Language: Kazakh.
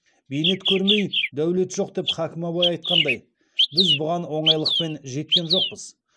бейнет көрмей дәулет жоқ деп хакім абай айтқандай біз бұған оңайлықпен жеткен жоқпыз